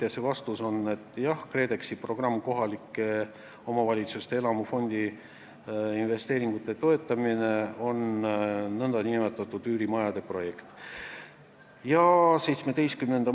Ja see vastus on, et jah, KredExi programm kohalike omavalitsuste elamufondi investeeringute toetamise kohta on nn üürimajade projekt.